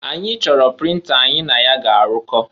Anyị choro printer anyị na ya ga arụkọ.